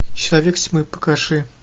человек тьмы покажи